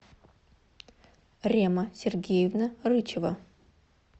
рема сергеевна рычева